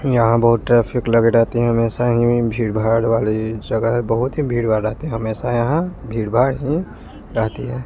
यहां बहोत ट्रैफिक लगी रहती है हमेशा यहीं भीड़ भाड वाली जगह बहुत ही भीड़ भाड रखती है हमेशा यहां भीड़ भाड ही रहती है।